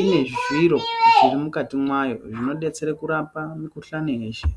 ine zviro zvirimukati mwayo zvinodetsere kurapa mikhuhlani yeshe.